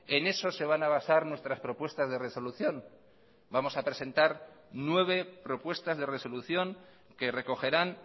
en eso se van a basar nuestras propuestas de resolución vamos a presentar nueve propuestas de resolución que recogerán